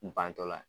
Bantɔla